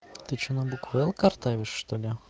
ты что на букву л картавишь что-ли